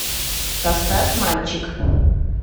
поставь мальчик